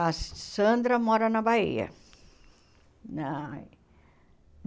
A Sandra mora na Bahia. Na